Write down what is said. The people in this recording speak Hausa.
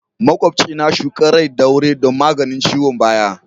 Makwabci na shuka rai ɗaure don maganin ciwon baya.